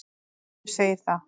Hver segir það?